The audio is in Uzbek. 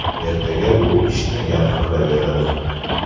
Ertaga bu ishni yana qilaveradi.